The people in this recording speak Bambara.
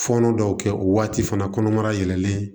Fɔɔnɔ dɔw kɛ o waati fana kɔnɔmaya yɛlɛlen